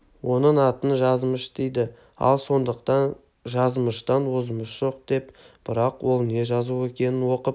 оның атын жазмыш дейді ал сондықтан жазмыштан озмыш жоқ деп бірақ ол не жазу екенін оқып